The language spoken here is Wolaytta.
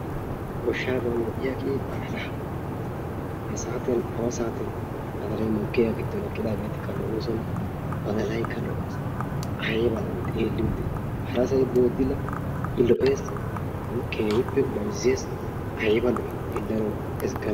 goshshaaban lo'iyagee badalla, ha saatiyan awa saatiyan badalay mokkiyagaa giddon eqqidagetikka lo'oosona, badalaykka lo'ees, aybba lo'ii xeeliyode, harasay boodila, i lo'ees. Keehippe mayzzees, ayba lo'ii xellanawu, egganawu